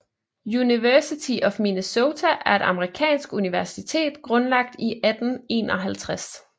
University of Minnesota er et amerikansk universitet grundlagt i 1851